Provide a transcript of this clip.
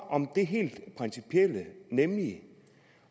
om det helt principielle nemlig